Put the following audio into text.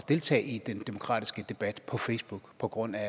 deltage i den demokratiske debat på facebook på grund af